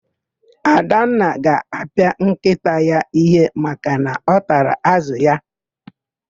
Adanna ga-apịa nkịta ya íhé maka na ọ tara ázụ̀ ya.